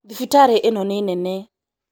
Thibitarĩ ĩno nĩ nene